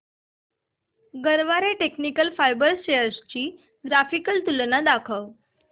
Garware technical fibres shares ची graphical तुलना दाखव